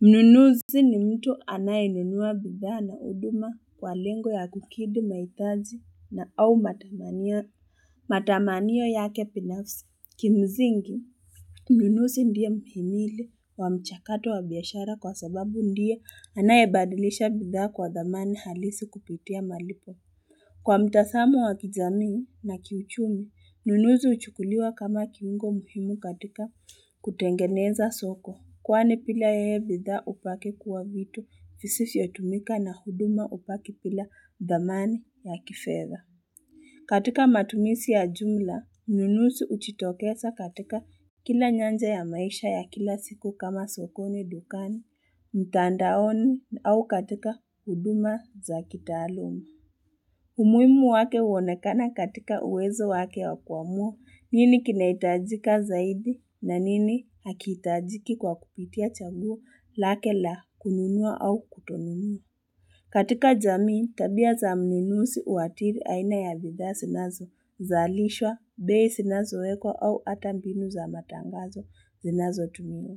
Mnunuzi ni mtu anayenunua bidhaa na huduma kwa lengo ya kukidhi mahitaji na au matamanio yake binafsi, kimsingi mnunuzi ndiye mhimili wa mchakato wa biashara, kwa sababu ndiye anayebadilisha bidhaa kwa dhamani halisi kupitia malipo. Kwa mtazamo wa kijamii, na kiuchumi, mnunuzi huchukuliwa kama kiungo mhimu katika kutengeneza soko. Kwani bila yeye bidhaa hubaki kuwa vitu visivyotumika, na huduma hubaki bila dhamani ya kifedha. Katika matumizi ya jumla, mnunuzi hujitokeza katika kila nyanja ya maisha ya kila siku, kama sokoni, dukani, mtandaoni au katika huduma za kitaaluma. Umuhimu wake huonekana katika uwezo wake, wa kuamua nini kinahitajika zaidi, na nini hakitajiki, kwa kupitia chaguo lake la kununua au kutonunua. Katika jamii, tabia za mnunuzi huathiri aina ya bidhaa zinazozalishwa, bei zinazowekwa au hata mbinu za matangazo zinazotumiwa.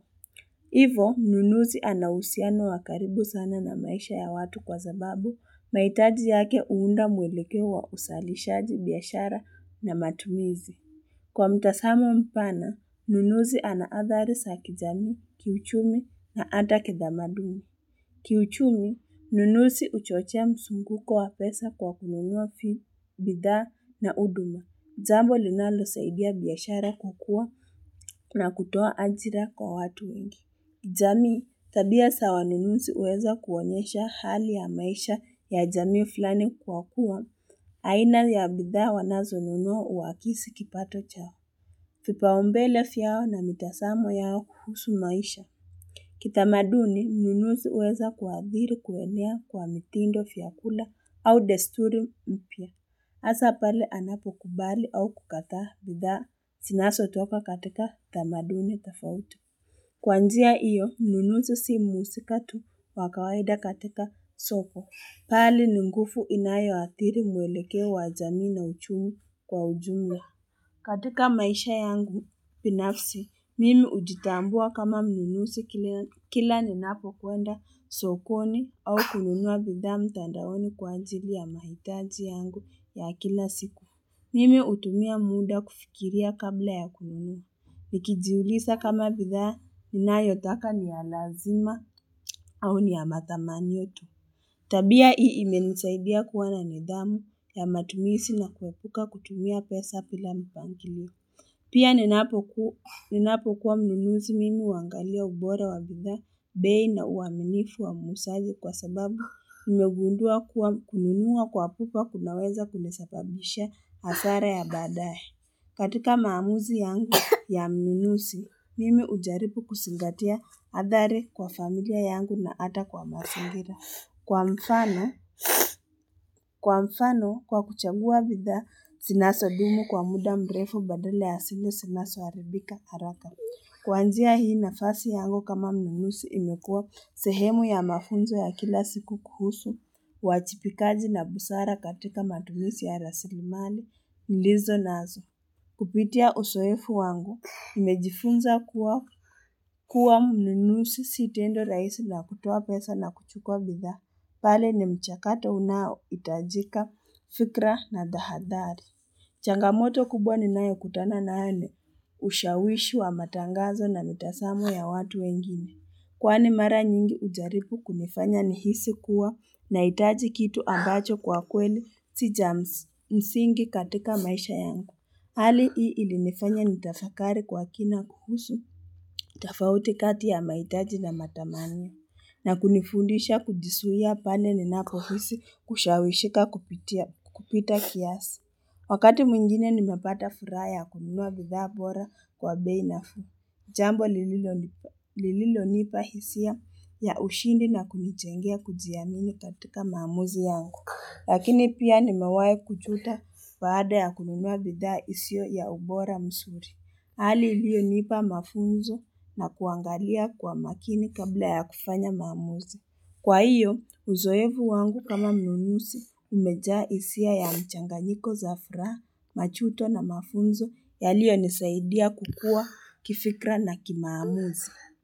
Hivo, mnunuzi ana uhusiano wa karibu sana na maisha ya watu, kwa sababu, mahitaji yake huunda mwelekeo wa uzalishaji biashara na matumizi. Kwa mtazamo mpana, mnunuzi ana adhari za kijamii, kiuchumi, na hata kitamaduni. Kiuchumi, mnunuzi huchochea mzunguko wa pesa, kwa kununua fi, bidhaa na huduma. Jambo linalosaidia biashara kukua, na kutoa ajira kwa watu wengi. Jamii, tabia za waninuzi, huweza kuonyesha hali ya maisha ya jamii flani kwa kua aina ya bidhaa wanazonunua huakizi kipato chao, vipaumbele vyao na mitazamo yao kuhusu maisha Kitamaduni, mninuzi huweza kuadhiri kuenea kwa mitindo, vyakula, au desturi mpya Hasa pale anapokubali au kukataa bidhaa, zinazotoka katika tamaduni tofauti. Kwa njia hiyo, mnunuzi si mhusika tu wa kawaida katika soko, bali ni nguvu inayoathiri mwelekeo wa jamii na uchumi kwa ujumla. Katika maisha yangu binafsi, mimi hujitambua kama mnunuzi kila ninapokwenda sokoni, au kununua bidhaa mtandaoni kwa anjili ya mahitaji yangu ya kila siku. Mimi hutumia muda kufikiria, kabla ya kununua. Nikijiuliza kama bidhaa ninayotaka ni ya lazima au ni ya matamanio tu. Tabia hii, imenisaidia kuwa na nidhamu ya matumizi, na kuepuka kutumia pesa bila mpangilio. Pia, ninapokuwa mnunuzi mimi huangalia ubora wa bidhaa, bei, na uaminifu wa muuzaji, kwa sababu nimegundua kuwa kununua kwa pupa kunaweza kunisababishia hasara ya baadaye. Katika maamuzi yangu ya mnunuzi, mimi hujaribu kuzingatia adhari kwa familia yangu na hata kwa mazingira. Kwa mfano, kwa mfano, kwa kuchagua bidhaa, zinazodumu kwa muda mrefu baadala ya zile zinazoharibika haraka. Kwa njia hii, nafasi yangu kama mnunuzi imekuwa sehemu ya mafunzo ya kila siku kuhusu, uajibikaji na busara katika matumizi ya rasilimali, nilizonazo. Kupitia uzoeevu wangu, nimejifunza kuwa, kuwa mnunuzi si tendo rahisi la kutoa pesa na kuchukua bidhaa, pale ni mchakato unaohitajika, fikra na tahadhari. Changamoto kubwa ni nayo kutana nayo ni, ushawishi wa matangazo, na mitazamo ya watu wengine. Kwani mara nyingi, hujaribu kunifanya nihisi kuwa, nahitaji kitu ambacho kwa kweli, si cha msingi katika maisha yangu. Hali hii ilinifanya nitafakari kwa kina kuhusu, tofauti kati ya mahitaji na matamanio, na kunifundisha kujizuia pale ninapohisi kushawishika kupita kiasi. Wakati mwingine nimepata furaha ya kununua bidhaa bora kwa bei nafuu, jambo lililonipa hisia ya ushindi, na kunijengea kujiamini katika maamuzi yangu. Lakini pia nimewai kujuta baada ya kununua bidhaa isiyo ya ubora mzuri. Hali iliyonipa mafunzo na kuangalia kwa makini kabla ya kufanya maamuzi. Kwa hiyo, uzoeefu wangu kama mnunusi umejaa hisia ya mchanganyiko za furaha, majuto na mafunzo yaliyonisaidia kukua kifikra na kimaamuzi.